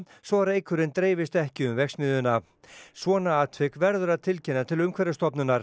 svo reykurinn dreifist ekki um verksmiðjuna svona atvik verður að tilkynna til Umhverfisstofnunar